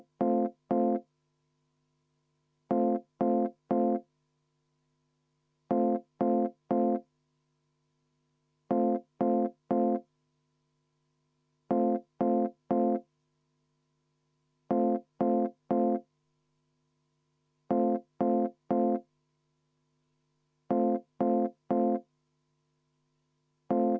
Enne muudatusettepaneku hääletust palun teha kümneminutiline vaheaeg ning viia läbi kohaloleku kontroll.